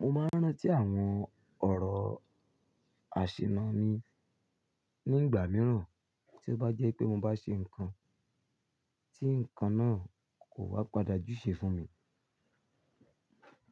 Mo máa ń rántí àwọn ọ̀rọ̀ àṣìná mi nígbà mìíràn tí ó bá jẹ́ pé mo bá ṣe nǹkan tí nǹkan náà kò wa padà jú ṣe fún mi.